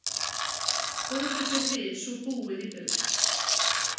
Fóru þeir við svo búið í burt.